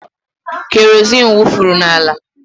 Kerozin wufuru n'ala.